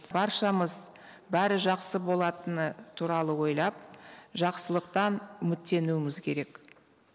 баршамыз бәрі жақсы болатыны туралы ойлап жақсылықтан үміттенуіміз керек